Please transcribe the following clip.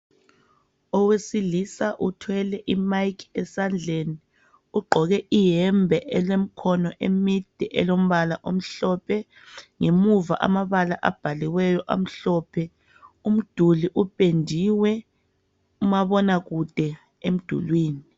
Owesilisa uthwele imike esandleni ugqoke iyembe elemikhono emide elombala omhlophe ngemuva amabala abhaliweyo amhlophe, umduli upendiwe umabonakude emdulwini.